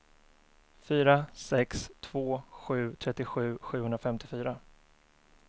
fyra sex två sju trettiosju sjuhundrafemtiofyra